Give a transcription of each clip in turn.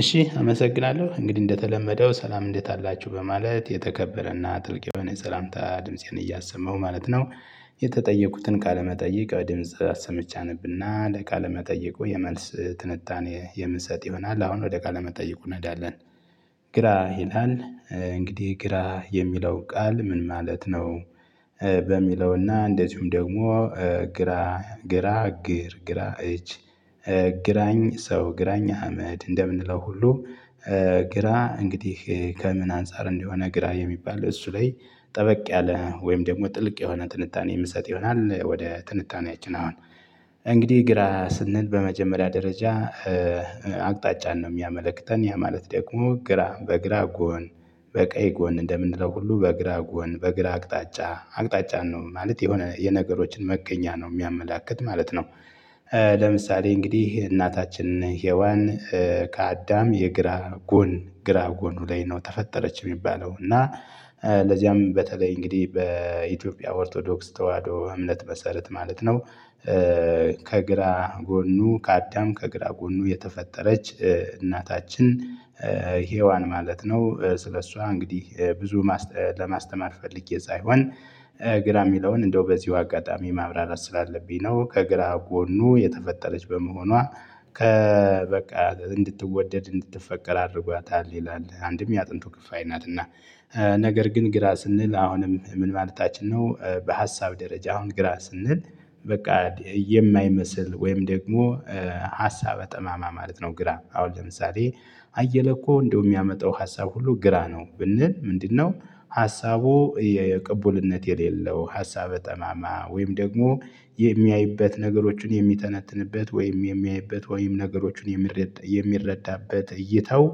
እሺ አመሰግናለሁ እንግዲህ እንደተለመደው ሰላም እንዴት አላችሁ በማለት የተከበረና ጥልቅ የሆነ ሰላምታ ድምፄን እያሰማሁ ማለት ነው። የተጠየቁትን ቃለመጠየቅ ድምጽ አሰምቼ አነብና ለቃለ መጠየቁ የመልስ ትንታኔ የምሰጥ ይሆናል። አሁን ወደ ቃለ መጠየቁ እናዳለን ግራ ይላል። እንግዲህ ግራ የሚለው ቃል ምን ማለት ነው? በሚለውና እንደዚሁም ደግሞ ግራ እግር ግራ እጅ ግራኝ ሰው ግራኝ አህመድ እንደምንለው ሁሉ። ግራ እንግዲህ ከምን አንፃር እንደሆነ ግራ የሚባል እሱ ላይ ጠበቅ ያለ ወይም ደግሞ ጥልቅ የሆነ ትንታኔ የምሰጥ ይሆናል። ወደ ትንታኔያችን አሁን እንግዲህ ግራ ስንል በመጀመሪያ ደረጃ። አቅጣጫን ነው የሚያመለክተን ያ ማለት ደግሞ ግራ በግራ ጎን በቀይ ጎን እንደምንለው ሁሉ በግራ ጎን በግራ አቅጣጫ አቅጣጫን ነው ማለት የሆነ የነገሮችን መገኛ ነው የሚያመላክት ማለት ነው። ለምሳሌ እንግዲህ እናታችን ሄዋን። ከአዳም የግራ ጎን ግራ ጎኑ ላይ ነው ተፈጠረች የሚባለው እና ለዚያም በተለይ እንግዲህ በኢትዮጵያ ኦርቶዶክስ ተዋህዶ እምነት መሰረት ማለት ነው። ከግራ ጎኑ ከአዳም ከግራ ጎኑ የተፈጠረች እናታችን ሄዋን ማለት ነው። ስለሷ እንግዲህ ብዙ ለማስተማር ፈልጌ ሳይሆን ግራ የሚለውን እንደው በዚሁ አጋጣሚ ማብራራት ስላለብኝ ነው። ከግራ ጎኑ የተፈጠረች በመሆኗ ከ በቃ እንድትወደድ እንድትፈቀር አድርጓታል ይላል አንድም የአጥንቱ ክፍአይ ናትና። ነገር ግን ግራ ስንል አሁንም ምን ማለታችን ነው? በሀሳብ ደረጃ አሁን ግራ ስንል በቃ የማይመስል ወይም ደግሞ ሀሳበ ጠማማ ማለት ነው። ግራ አሁን ለምሳሌ አየለ እኮ እንደው የሚያመጣው ሀሳብ ሁሉ ግራ ነው ብንል ምንድነው? ሀሳቡ የቅቡልነት የሌለው ሀሳበ ጠማማ ወይም ደግሞ የሚያይበት ነገሮችን የሚተነትንበት ወይም የሚያይበት ወይም ነገሮችን የሚረዳበት እይጣታው።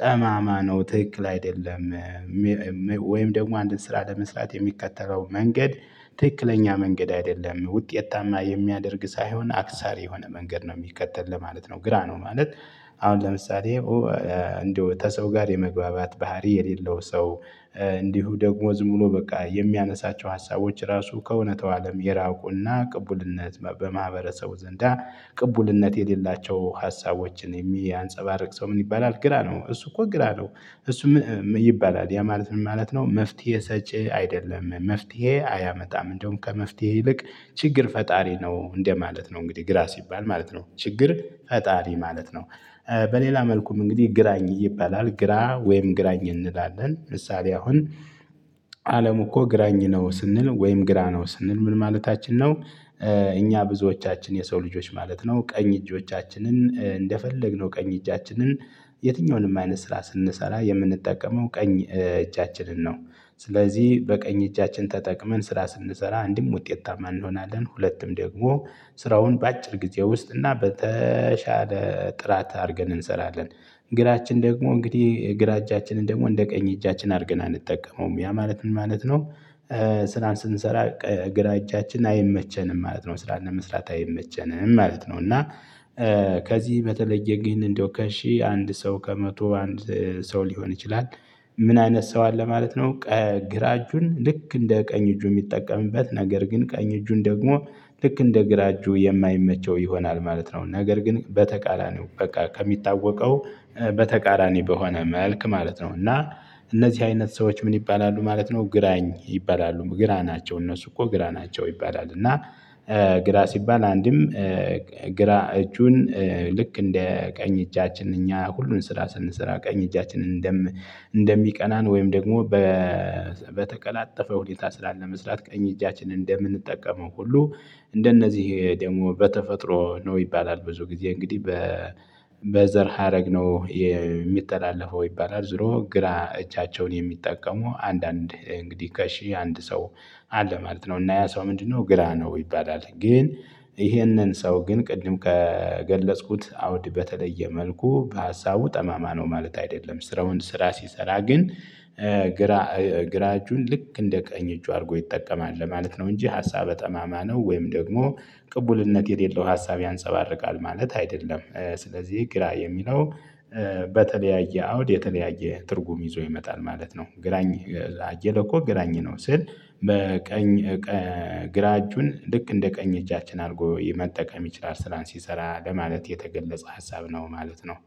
ጠማማ ነው ትክክል አይደለም ወይም ደግሞ አንድን ስራ ለመስራት የሚከተለው መንገድ ትክክለኛ መንገድ አይደለም ውጤታማ የሚያደርግ ሳይሆን አክሳሪ የሆነ መንገድ ነው የሚከተል ለማለት ነው። ግራ ነው ማለት። አሁን ለምሳሌ እንደው ከሰው ጋር የመግባባት ባህሪ የሌለው ሰው። እንዲሁ ደግሞ ዝም ብሎ በቃ የሚያነሳቸው ሀሳቦች ራሱ ከእውነታው አለም የራቁና ቅቡልነት በማህበረሰቡ ዘንዳ ቅቡልነት የሌላቸው ሀሳቦችን የሚያንፀባርቅ ሰው ምን ይባላል ግራ ነው እሱ እኮ ግራ ነው። እሱ ይባላል ያ ማለት ምን ማለት ነው? መፍትሄ ሰጪ አይደለም መፍትሄ አያመጣም እንደውም ከመፍትሄ ይልቅ ችግር ፈጣሪ ነው እንደማለት ነው። እንግዲህ ግራ ሲባል ማለት ነው ችግር ፈጣሪ ማለት ነው። በሌላ መልኩም እንግዲህ ግራኝ ይባላል ግራ ወይም ግራኝ እንላለን ምሳሌ አሁን አለም እኮ ግራኝ ነው ስንል ወይም ግራ ነው ስንል ምን ማለታችን ነው? እኛ ብዙዎቻችን የሰው ልጆች ማለት ነው ቀኝ እጆቻችንን እንደፈለግነው ቀኝ እጃችንን የትኛውንም አይነት ስራ ስንሰራ የምንጠቀመው ቀኝ እጃችንን ነው። ስለዚህ በቀኝ እጃችን ተጠቅመን ስራ ስንሰራ አንድም ውጤታ ማን እንሆናለን ሁለትም ደግሞ ስራውን በአጭር ጊዜ ውስጥ እና በተሻለ ጥራት አድርገን እንሰራለን። ግራችን ደግሞ እንግዲህ ግራ እጃችንን ደግሞ እንደ ቀኝ እጃችን አድርገን አንጠቀመውም ያ ማለት ምን ማለት ነው? ስራን ስንሰራ ግራ እጃችን አይመቸንም ማለት ነው። ስራን ለመስራት አይመቸንም ማለት ነው። እና ከዚህ በተለየ ግን እንደው ከሺህ አንድ ሰው ከመቶ አንድ ሰው ሊሆን ይችላል። ምን አይነት ሰው አለ ማለት ነው? ግራ እጁን ልክ እንደ ቀኝ እጁ የሚጠቀምበት ነገር ግን ቀኝ እጁን ደግሞ ልክ እንደ ግራ እጁ የማይመቸው ይሆናል ማለት ነው። ነገር ግን በተቃራኒው በቃ ከሚታወቀው በተቃራኒ በሆነ መልክ ማለት ነው። እና እነዚህ አይነት ሰዎች ምን ይባላሉ ማለት ነው? ግራኝ ይባላሉ ግራ ናቸው እነሱ እኮ ግራ ናቸው ይባላል። እና ግራ ሲባል አንድም ግራ እጁን ልክ እንደ ቀኝ እጃችን እኛ ሁሉን ስራ ስንሰራ ቀኝ እጃችንን እንደም እንደሚቀናን ወይም ደግሞ በተቀላጠፈው ሁኔታ ስራን ለመስራት ቀኝ እጃችንን እንደምንጠቀመው ሁሉ እንደነዚህ ደግሞ በተፈጥሮ ነው ይባላል። ብዙ ጊዜ እንግዲህ በዘር ሀረግ ነው የሚተላለፈው ይባላል። ዙሮ ግራ እጃቸውን የሚጠቀሙ አንዳንድ እንግዲህ ከሺህ አንድ ሰው አለ ማለት ነው። እና ያ ሰው ምንድነው? ግራ ነው ይባላል። ግን ይህንን ሰው ግን ቅድም ከገለጽኩት አውድ በተለየ መልኩ በሀሳቡ ጠማማ ነው ማለት አይደለም። ስራውን ስራ ሲሰራ ግን ግራ እጁን ልክ እንደ ቀኝ እጁ አድርጎ ይጠቀማል ለማለት ነው። እንጂ ሀሳብ ጠማማ ነው ወይም ደግሞ ቅቡልነት የሌለው ሀሳብ ያንፀባርቃል ማለት አይደለም። ስለዚህ ግራ የሚለው በተለያየ አውድ የተለያየ ትርጉም ይዞ ይመጣል ማለት ነው። ግራኝ አየለ እኮ ግራኝ ነው ስል በቀኝ ግራ እጁን ልክ እንደ ቀኝ እጃችን አድርጎ መጠቀም ይችላል። ስራን ሲሰራ ለማለት የተገለጸ ሀሳብ ነው ማለት ነው።